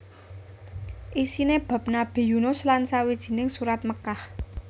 Isiné bab Nabi Yunus lan sawijining Surat Mekkah